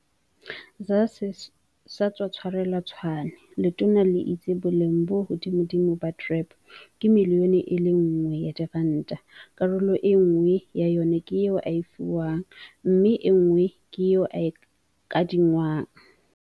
ZA se sa tswa tshwarelwa Tshwane, letona le itse boleng bo hodimodimo ba TREP ke miliyone e le nngwe ya diranta, karolo enngwe ya yona ke e o e fiwang mme enngwe ke e o e kadi ngwang.